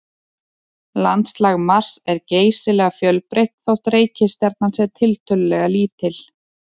Landslag Mars er geysilega fjölbreytt þótt reikistjarnan sé tiltölulega lítil.